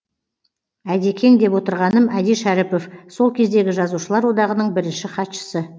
әдекең деп отырғаным әди шәріпов сол кездегі жазушылар одағының бірінші хатшысы